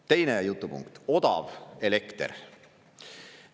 Teine jutupunkt: odav elekter.